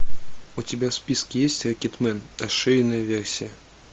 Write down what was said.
у тебя в списке есть рокетмен расширенная версия